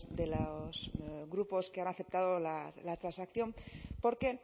de los grupos que han aceptado la transacción porque